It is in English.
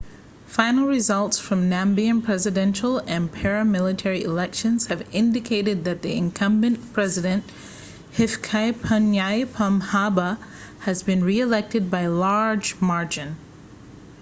final results from namibian presidential and parliamentary elections have indicated that the incumbent president hifikepunye pohamba has been reelected by a large margin